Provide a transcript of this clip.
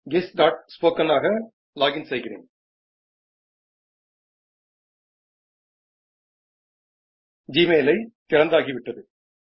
ગેસ્ટસ્પોકન આગા લોગીન સીગીરેન જીમેઈલ અઇ થીરંડગી વિટ્ટડુ